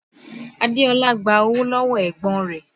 Adeola gba owó lọ́wọ́ ẹ̀gbọ́n rẹ̀